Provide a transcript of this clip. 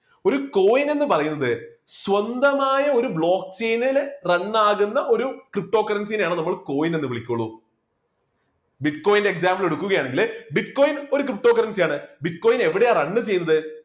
ഒരു coin എന്നു പറയുന്നത് സ്വന്തമായ ഒരു block chain ല് run ആകുന്ന ഒരു ptocurrency നെ ആണ് നമ്മൾ coin എന്ന് വിളിക്കുകയുള്ളൂ. bitcoin ന്റെ example എടുക്കുകയാണെങ്കില് bitcoin ഒരു ptocurrency ആണ് bitcoin എവിടെയാണ് run ചെയ്യുന്നത്.